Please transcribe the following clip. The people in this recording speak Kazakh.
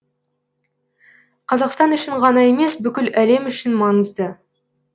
қазақстан үшін ғана емес бүкіл әлем үшін маңызды